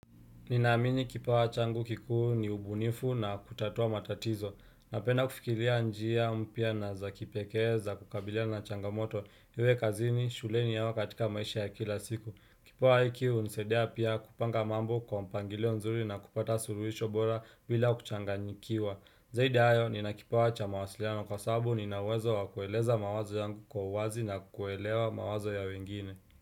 Ninaamini kipawa changu kikuu ni ubunifu na kutatua matatizo. Napenda kufikiria njia mpya na za kipekee za kukabilia na changamoto. Iwe kazini, shuleni au katika maisha ya kila siku. Kipawa hiki hunisaidia pia kupanga mambo kwa mpangilio nzuri na kupata suluhisho bora bila kuchanganyikiwa. Zaidi hayo, ninakipawa cha mawasiliano kwa sababu nina uwezo wa kueleza mawazo yangu kwa uwazi na kuelewa mawazo ya wengine.